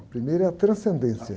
A primeira é a transcendência.